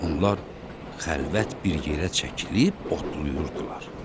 Onlar xəlvət bir yerə çəkilib otlayırdılar.